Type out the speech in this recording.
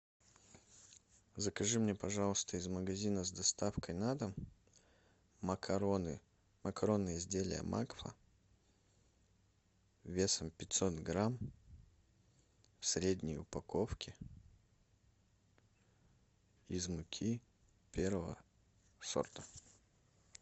закажи мне пожалуйста из магазина с доставкой на дом макароны макаронные изделия макфа весом пятьсот грамм в средней упаковке из муки первого сорта